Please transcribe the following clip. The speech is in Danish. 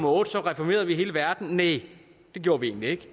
otte så reformerede vi hele verden så næ det gjorde vi egentlig ikke